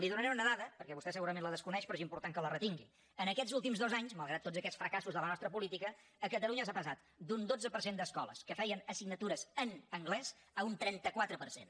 li donaré una dada perquè vostè segurament la desconeix però és important que la retingui aquests últims dos anys malgrat tots aquests fracassos de la nostra política a catalunya s’ha passat d’un dotze per cent d’escoles que feien assignatures en anglès a un trenta quatre per cent